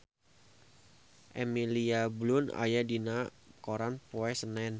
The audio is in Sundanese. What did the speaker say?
Emily Blunt aya dina koran poe Senen